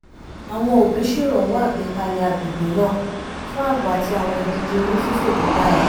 àwọn òbí ṣèrànwọ́ àgbékalẹ̀ agbègbè náà fún ààbò àti àwọn ìdíje onífífò tó dàra